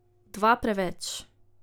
Dva preveč.